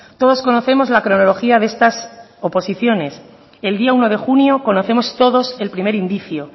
todos conocemos la cronología de estas oposiciones el día uno de junio conocemos todos el primer indicio